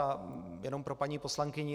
A jenom pro paní poslankyni.